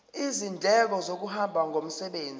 izindleko zokuhamba ngomsebenzi